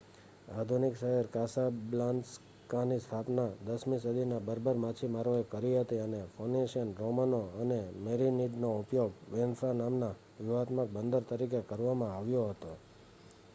આધુનિક શહેર કાસાબ્લાન્કાની સ્થાપના 10મી સદીમાં બર્બર માછીમારોએ કરી હતી, અને ફોનિશિયન રોમનો અને મેરિનિડનો ઉપયોગ એન્ફા નામના વ્યૂહાત્મક બંદર તરીકે કરવામાં આવ્યો હતો